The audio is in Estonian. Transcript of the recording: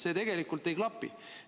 See tegelikult ei klapi.